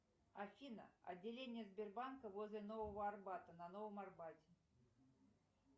афина отделение сбербанка возле нового арбата на новом арбате